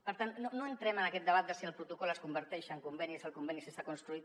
per tant no entrem en aquest debat de si el protocol es converteix en conveni si el conveni està construït